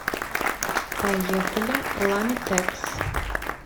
поехали ламитекс